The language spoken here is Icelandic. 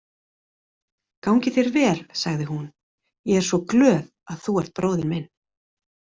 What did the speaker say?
Gangi þér vel, sagði hún, ég er svo glöð að þú ert bróðir minn.